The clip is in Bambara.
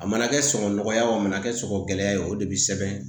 A mana kɛ sɔgɔ nɔgɔya ye o a mana kɛ sɔgɔ gɛlɛya ye o de bi sɛbɛn